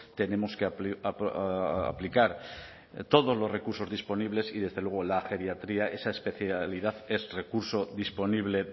tenemos que aplicar todos los recursos disponibles y desde luego la geriatría esa especialidad es recurso disponible